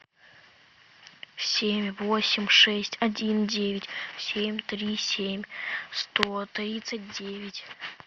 семь восемь шесть один девять семь три семь сто тридцать девять